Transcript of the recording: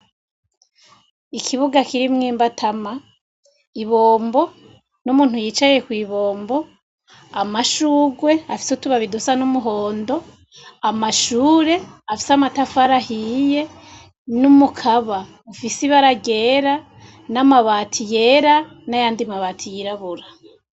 Ikibuga kirimwo imbatama, ibombo n'umuntu yicaye kw'ibombo, amashurwe afise utubabi dusa n'umuhondo, amashure afise amatafari ahiye n'umukaba ufise ibara ryera, n'amabati yera n'ayandi mabati y'irabura.